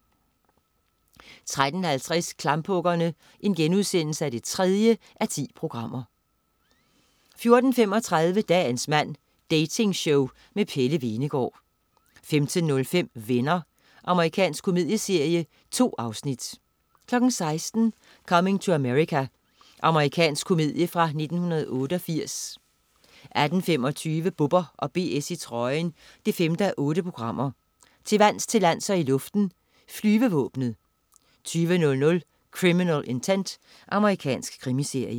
13.50 Klamphuggerne 3:10* 14.35 Dagens mand. Dating-show med Pelle Hvenegaard 15.05 Venner. Amerikansk komedieserie. 2 afsnit 16.00 Coming to America. Amerikansk komedie fra 1988 18.25 Bubber & BS i trøjen 5:8. Til vands, til lands og i luften: Flyvevåbnet 20.00 Criminal Intent. Amerikansk krimiserie